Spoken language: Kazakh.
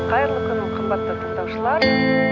қайырлы күн қымбатты тындаушылар